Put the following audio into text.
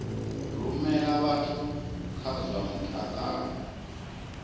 rumela vhathu kha zwa mutakalo